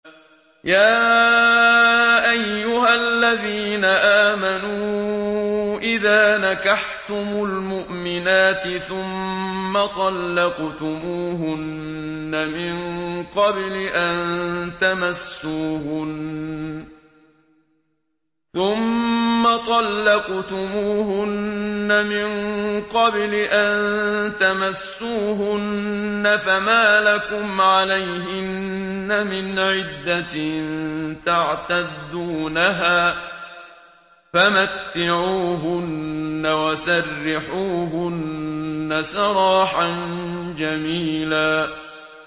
يَا أَيُّهَا الَّذِينَ آمَنُوا إِذَا نَكَحْتُمُ الْمُؤْمِنَاتِ ثُمَّ طَلَّقْتُمُوهُنَّ مِن قَبْلِ أَن تَمَسُّوهُنَّ فَمَا لَكُمْ عَلَيْهِنَّ مِنْ عِدَّةٍ تَعْتَدُّونَهَا ۖ فَمَتِّعُوهُنَّ وَسَرِّحُوهُنَّ سَرَاحًا جَمِيلًا